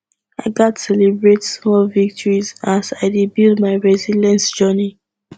i gats celebrate small victories as i dey build my resilience journey